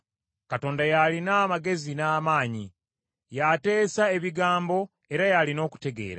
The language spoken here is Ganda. Katonda y’alina amagezi n’amaanyi; y’ateesa ebigambo era y’alina okutegeera.